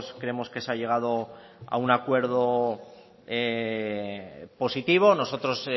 creemos que se ha llegado a un acuerdo positivo nosotros